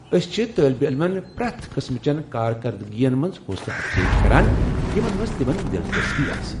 أسۍ چھِ طالب علمن پریتھ قٕسمٕچن كاركردٕگِین منز حوصلہٕ افضٲیی كران یمن منز تِمن دِلچسپی آسہِ ۔